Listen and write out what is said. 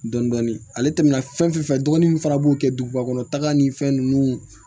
Dɔndɔni ale tɛmɛna fɛn fɛn fɛ dɔgɔnin min fana b'o kɛ duguba kɔnɔ taga ni fɛn ninnu